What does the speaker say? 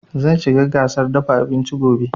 Zan shiga gasar dafa abinci gobe